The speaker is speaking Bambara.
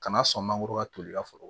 Kana sɔn mangoro ka toli ka foro